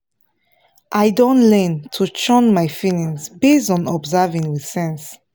i don learn to shun my feelings based on observing with sense